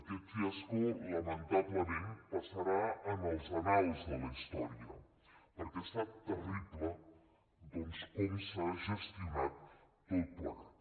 aquest fiasco lamen·tablement passarà als anals de la història perquè ha estat terrible com s’ha gestionat tot plegat